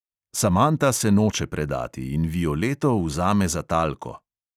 Samanta se noče predati in violeto vzame za talko.